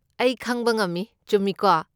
ꯑꯩ ꯈꯪꯕ ꯉꯝꯃꯤ, ꯆꯨꯝꯃꯤꯀꯣ?